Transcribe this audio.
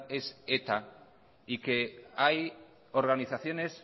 es eta y que hay organizaciones